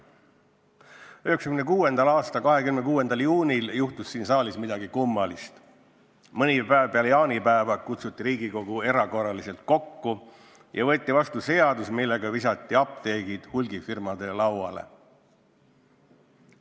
1996. aasta 26. juunil juhtus siin saalis midagi kummalist: mõni päev peale jaanipäeva kutsuti Riigikogu erakorraliselt kokku ja võeti vastu seadus, millega visati apteegid hulgifirmade lauale.